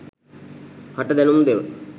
හට දැනුම් දෙව.